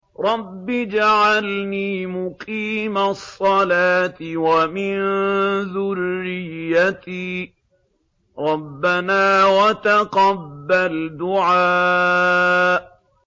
رَبِّ اجْعَلْنِي مُقِيمَ الصَّلَاةِ وَمِن ذُرِّيَّتِي ۚ رَبَّنَا وَتَقَبَّلْ دُعَاءِ